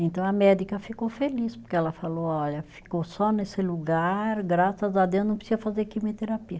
Então a médica ficou feliz, porque ela falou, olha, ficou só nesse lugar, graças a Deus não precisa fazer quimioterapia.